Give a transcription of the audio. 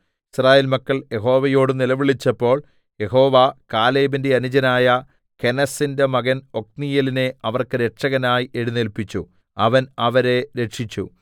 യിസ്രായേൽ മക്കൾ യഹോവയോട് നിലവിളിച്ചപ്പോൾ യഹോവ കാലേബിന്റെ അനുജനായ കെനസിന്റെ മകൻ ഒത്നീയേലിനെ അവർക്ക് രക്ഷകനായി എഴുന്നേല്പിച്ചു അവൻ അവരെ രക്ഷിച്ചു